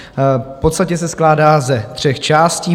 V podstatě se skládá ze tří částí.